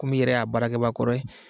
Komi' i yɛrɛ y'a baraakɛbaa kɔrɔ ye